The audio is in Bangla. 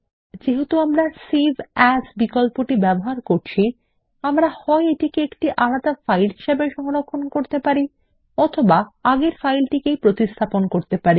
যেহেতু আমরা সেভ এএস বিকল্পটি ব্যবহার করছি আমরা হয় এটিকে আলাদা একটি ফাইল হিসাবে সংরক্ষণ করতে পারি অথবা আগের ফাইলটিকেই প্রতিস্থাপন করতে পারি